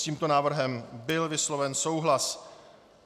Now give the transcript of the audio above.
S tímto návrhem byl vysloven souhlas.